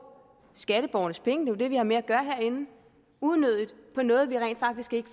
skatteborgernes penge det er vi har med at gøre herinde unødigt på noget vi rent faktisk ikke